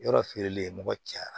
Yɔrɔ feereli le ye mɔgɔ caya